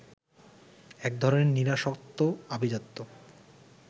এক ধরনের নিরাসক্ত আভিজাত্য